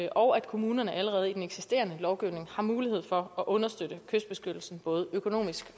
og at kommunerne allerede i den eksisterende lovgivning har mulighed for at understøtte kystbeskyttelsen både økonomisk